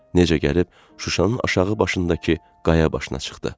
Necə gəlib Şuşanın aşağı başındakı qaya başına çıxdı.